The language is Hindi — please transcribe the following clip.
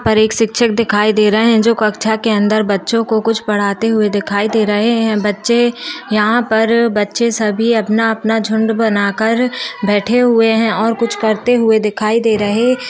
--पर एक शिक्षक दिखाई दे रहे है जो कक्षा के अंदर बच्चों को कुछ पढ़ते हुए दिखाई दे रहे है बच्चे यहाँ पर बच्चे सभी अपना अपना झुण्ड बनाकर बैठे हुए है और कुछ करते हुए दिखाई दे रहे --